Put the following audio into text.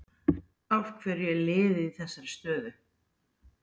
Af hverju er liðið í þessari stöðu?